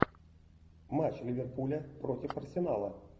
матч ливерпуля против арсенала